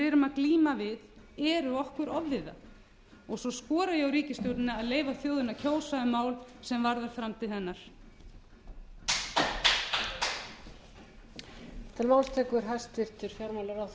erum að glíma við eru okkur ofviða svo skora ég á ríkisstjórnina að leyfa þjóðinni að kjósa um mál sem varða framtíð hennar